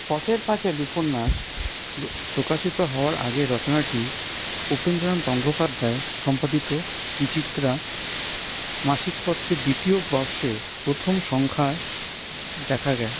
পথের পাঁচালি উপন্যাস প্র্ প্রকাশিত হওয়ার আগে রচনাটি উপেন্দ্রনাথ গঙ্গোপাধ্যায় সম্পাদিত বিচিত্রা মাসিক পত্রে দ্বিতীয় বর্ষের প্রথম সংখ্যায় দেখা গায়ে।